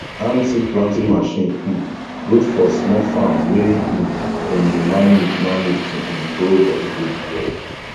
hand seed planting machine um good for small farm wey um dem dey manage manage to um grow vegetable well